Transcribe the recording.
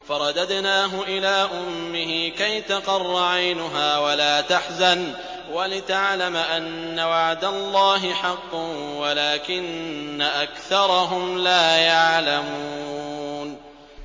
فَرَدَدْنَاهُ إِلَىٰ أُمِّهِ كَيْ تَقَرَّ عَيْنُهَا وَلَا تَحْزَنَ وَلِتَعْلَمَ أَنَّ وَعْدَ اللَّهِ حَقٌّ وَلَٰكِنَّ أَكْثَرَهُمْ لَا يَعْلَمُونَ